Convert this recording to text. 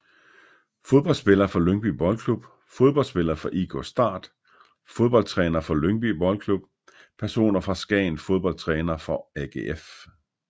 Fodboldspillere fra Lyngby Boldklub Fodboldspillere fra IK Start Fodboldtrænere fra Lyngby Boldklub Personer fra Skagen Fodboldtrænere for AGF